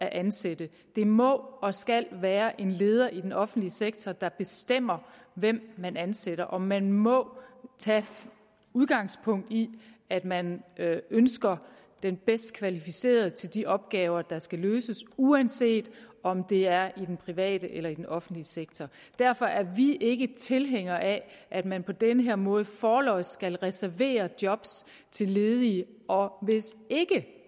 at ansætte det må og skal være en leder i den offentlige sektor der bestemmer hvem man ansætter og man må tage udgangspunkt i at man ønsker den bedst kvalificerede til de opgaver der skal løses uanset om det er i den private eller i den offentlige sektor derfor er vi ikke tilhænger af at man på den her måde forlods skal reservere job til ledige og hvis ikke